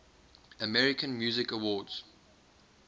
american music awards